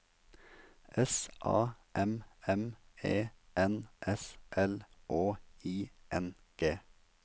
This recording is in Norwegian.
S A M M E N S L Å I N G